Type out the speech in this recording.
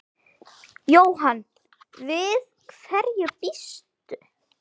Jóhann: Við hverju býstu?